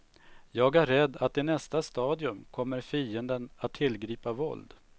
Jag är rädd att i nästa stadium kommer fienden att tillgripa våld.